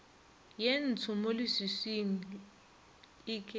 ye ntsho mo leswiswing eke